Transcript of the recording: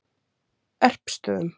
Erpsstöðum